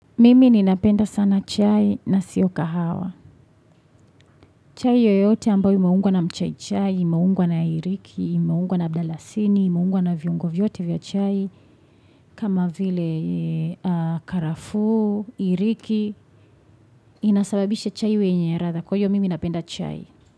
Mimi ninapenda sana chai na sio kahawa. Chai yoyote ambayo imeungwa na mchai chai, imeungwa na iriki, imeungwa na mdalasini, imeungwa na viungo vyote vya chai. Kama vile karafu, iriki, inasababisha chai wenye ratha. Kwa hio mimi napenda chai.